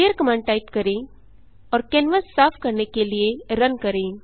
clear command type करें और canvas साफ करने के लिए रन करें